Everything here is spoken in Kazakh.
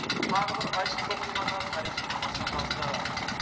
тағы бір айшықты оқиғаны тарих жылнамасына жазды